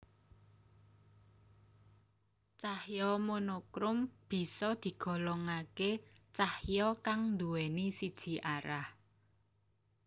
Cahya monokrom bisa digolongake cahya kang nduwèni siji arah